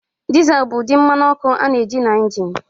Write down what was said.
Diesel bụ ụdị mmanụ ọkụ a na-eji na injin.